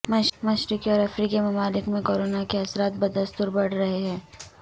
مشرقی اور افریقی ممالک میں کورونا کے اثرات بدستور بڑھ رہے ہیں